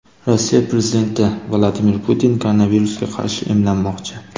Rossiya prezidenti Vladimir Putin koronavirusga qarshi emlanmoqchi.